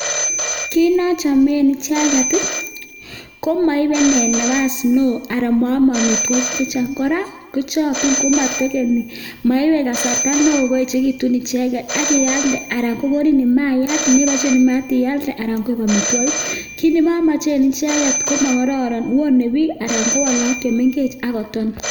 Kiit nochomen icheket komoibe nee nabas neoo aran moome amitwokik chechang kora kochokyi komotekeni moibe kasarta neoo koechekitun icheket ak ialde anan kokonin maiyat neboishen mayat ialde anan ko amitwokik, kiit nemomochen icheket komokororon wonee biik anan kowon look chemeng'ech ak koton.